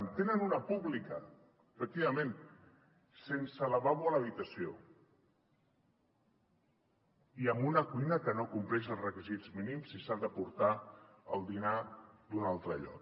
en tenen una de pública efectivament sense lavabo a l’habitació i amb una cuina que no compleix els requisits mínims i s’hi ha de portar el dinar d’un altre lloc